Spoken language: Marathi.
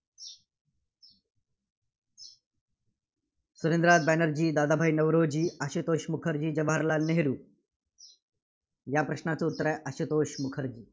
सुरेद्रनाथ बॅनर्जी, दादाभाई नौरोजी, आशुतोष मुखर्जी, जवाहरलाल नेहरू या प्रश्नाचं उत्तर आहे, आशुतोष मुखर्जी.